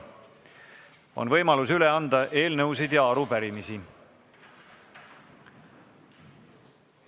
On võimalus üle anda eelnõusid ja arupärimisi.